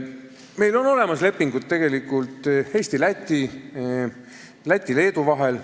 Meil on olemas lepingud Eesti ja Läti ning Läti ja Leedu vahel.